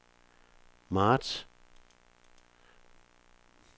marts